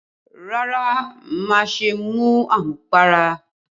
Rárá, má ṣe mu àmupara